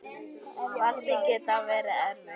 Valið gæti verið erfitt.